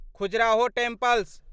Khajuraho temples